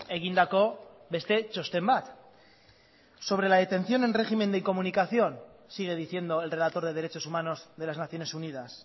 egindako beste txosten bat sobre la detención en régimen de incomunicación sigue diciendo el relator de derechos humanos de las naciones unidas